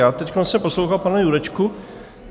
Já teď jsem poslouchal pana Jurečku.